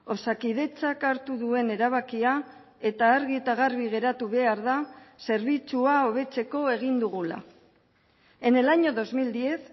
osakidetzak hartu duen erabakia eta argi eta garbi geratu behar da zerbitzua hobetzeko egin dugula en el año dos mil diez